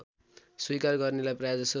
स्वीकार गर्नेलाई प्रायजसो